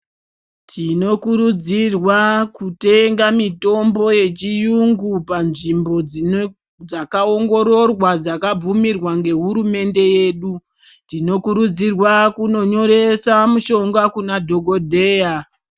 Tinokurudzirwa kutenga mitombo yechiyungu panzvimbo, dzakaongororwa, dzakabvumirwa ngehurumende yedu. Tinokurudzirwa kunonyoresa mishonga kuna dhogodheya.